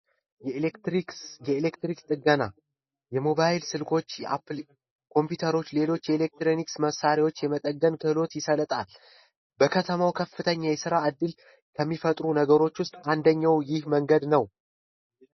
የኤሌክትሪክ ጥገና የሞባይል ስልኮችና ኮምፒዩተሮች እና የኤሌክትሮኒክስ መሣሪያዎች የመጠቀም ክህሎት ይሰጣል። በከተማው ከፍተኛ የስራ ዕድል ከሚፈጥሩ ነገሮች ውስጥ አንደኛው ይህ መንገድ ነው።